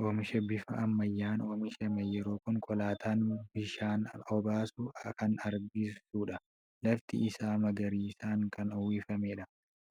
Oomisha bifa ammayyaan oomishame yeroo konkolaataan bishaan obaasu kan agarsiisudha. Lafti isaa magariisaan kan uwwifamedha.